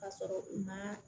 K'a sɔrɔ u ma